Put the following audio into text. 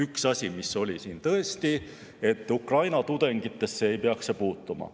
Üks asi, mis siin tõesti on, on see, et Ukraina tudengitesse ei peaks see puutuma.